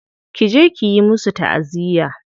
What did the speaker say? Ki je kiyi musu ta'aziyya.